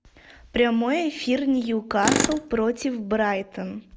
прямой эфир ньюкасл против брайтон